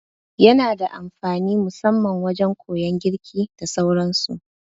Yana da amfani musamman wajan koyan girki da sauran su